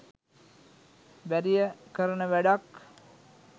බැරිය කරන වැඩක්